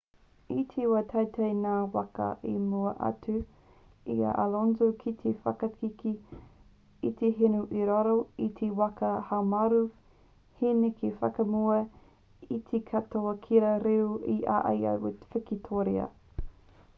i te wā i taetae ngā waka i mua atu i a alonso ki te whakakī i te hinu i raro i te waka haumaru he neke whakamua ia i te katoa kia riro i a ia te wikitōria